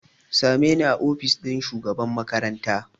Same ni a ofis ɗin shugaban makaranta!